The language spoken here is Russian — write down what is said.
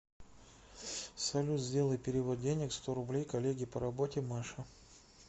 салют сделай перевод денег сто рублей коллеге по работе маше